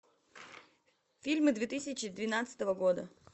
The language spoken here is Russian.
фильмы две тысячи двенадцатого года